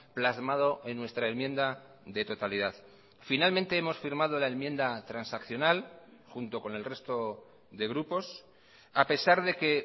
plasmado en nuestra enmienda de totalidad finalmente hemos firmado la enmienda transaccional junto con el resto de grupos a pesar de que